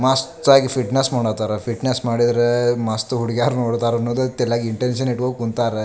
ಮಸ್ತ್ ಆಗಿ ಫಿಟ್ನೆಸ್ಸ್ ಮಾಡತಾರ ಫಿಟ್ನೆಸ್ಸ್ ಮಾಡಿದ್ರೇ ಮಸ್ತ್ ಹುಡ್ಗ್ಯಾರ್ ನೋಡುತಾರನ್ನೋದು ತೆಲ್ಯಾಗ್ ಇಂಟೆನ್ಷನ್ ಇಟ್ಕೊಂದ್ ಕುಂತಾರೆ.